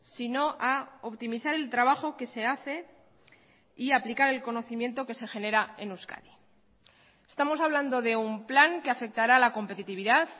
sino a optimizar el trabajo que se hace y aplicar el conocimiento que se genera en euskadi estamos hablando de un plan que afectará a la competitividad